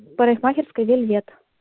парикмахерская вельвет